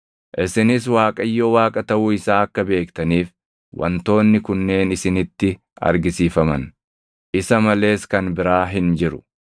Isinis Waaqayyo Waaqa taʼuu isaa akka beektaniif wantoonni kunneen isinitti argisiifaman; isa malees kan biraa hin jiru.